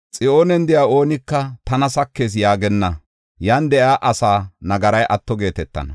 Xiyoonen de7iya oonika “Tana sakees” yaagenna; yan de7iya asaa nagaray atto geetetana.